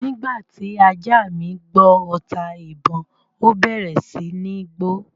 Nígbà tí ajá mi gbọ́ ọta-ìbon, ó bẹ̀rẹ̀ sí ní gbó